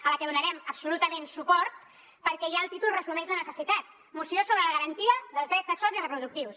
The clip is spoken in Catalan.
a la que donarem absolutament suport perquè ja el títol resumeix la necessitat moció sobre la garantia dels drets sexuals i reproductius